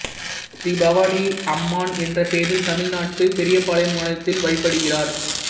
ஸ்ரீ பவானி அம்மான் என்ற பெயரில் தமிழ்நாடு பெரியபாளையம் மாநிலத்தில் வழிபடுகிறார்